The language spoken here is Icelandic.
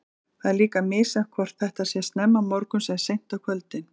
Það er líka misjafnt hvort þetta sé snemma morguns eða seint á kvöldin.